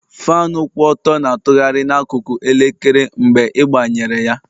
Faanụ kwụ ọtọ na-atụgharị n'akụkụ elekere mgbe ịgbanyere ya